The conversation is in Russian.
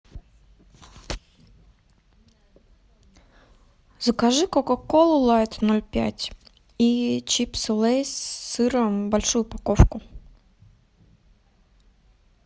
закажи кока колу лайт ноль пять и чипсы лейс с сыром большую упаковку